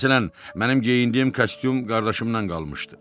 Məsələn, mənim geyindiyim kostyum qardaşımdan qalmışdı.